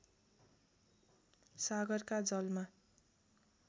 सागरका जलमा